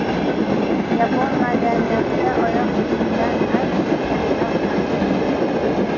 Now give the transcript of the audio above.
Yapon madaniyatida oyoq kiyimidan ham jirkanchroq narsa yo‘q.